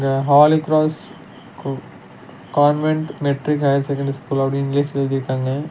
இங்க Holy Cross கு convent matric higher secondary school அப்டினு இங்கிலீஷ்ல எழுதிருக்காங்க.